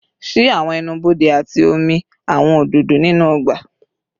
Ṣii awọn ẹnu-bode ati omi awọn ododo ninu ọgba